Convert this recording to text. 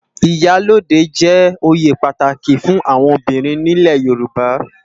Iyá lódé jè óyé pàtáki fún áwòn óbirin ni ilé Yoruba